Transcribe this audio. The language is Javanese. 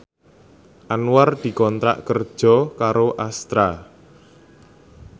Anwar dikontrak kerja karo Astra